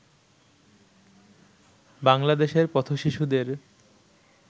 বাংলাদেশের পথ-শিশুদের